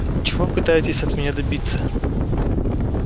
чего пытаетесь от меня добиться